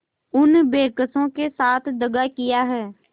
उन बेकसों के साथ दगा दिया है